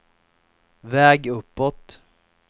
väg uppåt